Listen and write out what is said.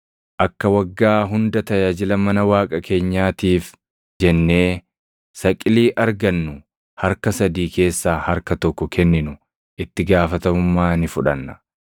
“Akka waggaa hunda tajaajila mana Waaqa keenyaatiif jennee saqilii argannu harka sadii keessaa harka tokko kenninu itti gaafatamummaa ni fudhanna;